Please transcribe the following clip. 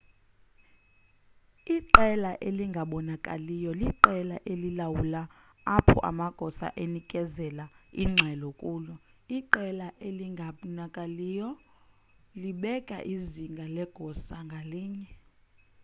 iqela elingabonakaliyo liqela elilawulayo apho amagosa enikezela ingxelo kulo iqela elingabnakaliyo libeka izinga legosa ngalinye